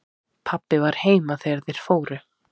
Pabbi var heima þegar þeir fóru.